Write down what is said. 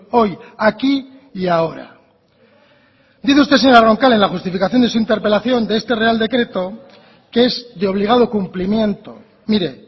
hoy aquí y ahora dice usted señora roncal en la justificación de su interpelación de este real decreto que es de obligado cumplimiento mire